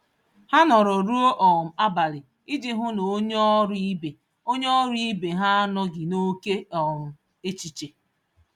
Ha nọrọ ruo um abalị iji hụ na onye ọrụ ibe onye ọrụ ibe ha anọghị n'ókè um échichè